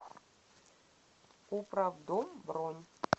управдом бронь